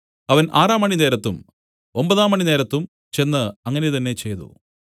അവൻ ആറാം മണി നേരത്തും ഒമ്പതാംമണി നേരത്തും ചെന്ന് അങ്ങനെ തന്നെ ചെയ്തു